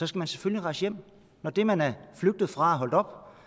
skal man selvfølgelig rejse hjem når det man er flygtet fra